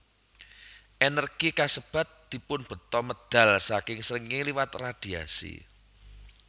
Ènèrgi kasebat dipunbeta medal saking srengéngé liwat radhiasi